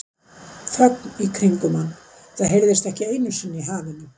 Þögn í kringum hann, það heyrist ekki einu sinni í hafinu.